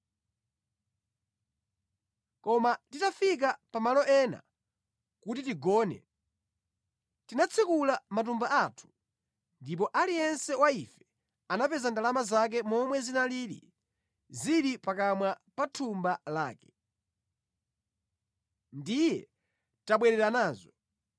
koma titafika pa malo ena kuti tigone, tinatsekula matumba athu ndipo aliyense wa ife anapeza ndalama zake momwe zinalili zili pakamwa pa thumba lake. Ndiye tabwerera nazo.